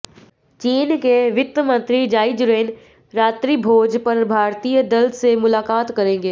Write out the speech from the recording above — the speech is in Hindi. चीन के वित्त मंत्री जाई जुरेन रात्रिभोज पर भारतीय दल से मुलाकात करेंगे